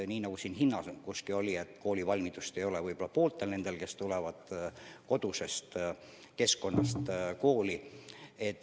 Nii nagu siin hinnang oli, koolivalmidust ei ole võib-olla pooltel nendest lastest, kes tulevad kodusest keskkonnast kooli.